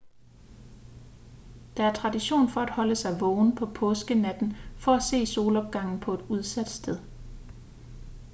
der er tradition for at holde sig vågen på påskenatten for at se solopgangen på et udsat sted